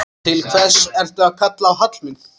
Til hvers ertu að kalla á Hallmund?